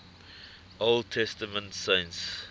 old testament saints